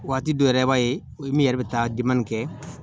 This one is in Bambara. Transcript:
Waati dɔ yɛrɛ i b'a ye min yɛrɛ bɛ taa kɛ